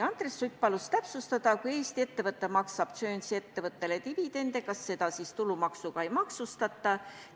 Andres Sutt palus täpsustada, et kui Eesti ettevõte maksab Guernsey ettevõttele dividende, siis kas neid tulumaksuga ei maksustata.